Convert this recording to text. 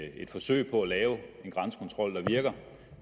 i et forsøg på at lave en grænsekontrol der virker